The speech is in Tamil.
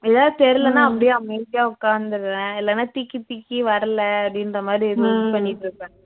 எதாவது தெரிஉயலன்னா அப்படியே அமைதியா உக்காந்துருவேன் இல்லன்னா திக்கி திக்கி வறல அப்படின்றமாதிரி பண்ணிட்டிருப்பேன்